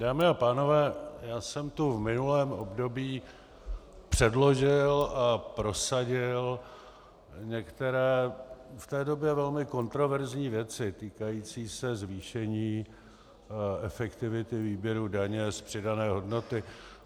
Dámy a pánové, já jsem tu v minulém období předložil a prosadil některé v té době velmi kontroverzní věci týkající se zvýšení efektivity výběru daně z přidané hodnoty.